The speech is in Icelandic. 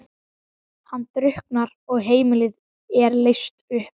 Hann drukknar og heimilið er leyst upp.